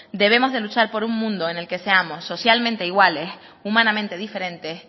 debemos de luchar por un mundo en el que seamos socialmente iguales humanamente diferentes